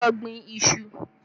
Lọ gbin iṣu!